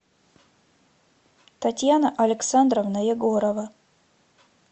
татьяна александровна егорова